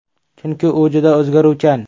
Chunki u juda o‘zgaruvchan”.